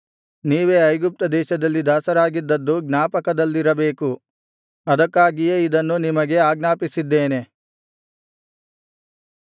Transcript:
ನೀವೇ ಐಗುಪ್ತದೇಶದಲ್ಲಿ ದಾಸರಾಗಿದ್ದದ್ದು ಜ್ಞಾಪಕದಲ್ಲಿರಬೇಕು ಅದಕ್ಕಾಗಿಯೇ ಇದನ್ನು ನಿಮಗೆ ಆಜ್ಞಾಪಿಸಿದ್ದೇನೆ